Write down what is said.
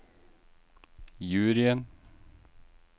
juryen